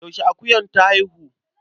Yaushe akuyar ta haihu?